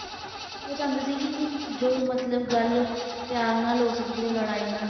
ਇਹ ਚਾਹੁੰਦੇ ਸੀਗੇ ਕਿ ਜੋ ਮਤਲਬ ਗੱਲ ਪਿਆਰ ਨਾਲ ਹੋ ਸਕਦੀ ਹੈ ਉਹ ਲੜਾਈ ਨਾਲ,